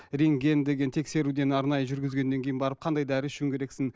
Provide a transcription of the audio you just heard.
рентген деген тексеруден арнайы жүргізгеннен кейін барып қандай дәрі ішуің керексің